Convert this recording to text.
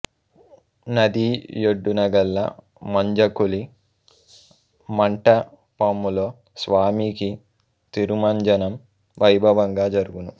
నది యొడ్డునగల మంజక్కుళి మంటపములో స్వామికి తిరుమంజనం వైభవంగా జరుగును